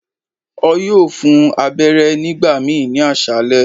O yoo fun u abẹrẹ nigbamii ni aṣalẹ